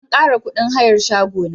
An kara kudin hayar shago na.